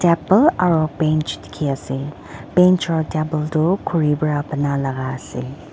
aple aro bench dikhiase bench aro table tu khuri pra banalaka ase.